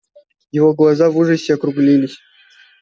его глаза в ужасе округлились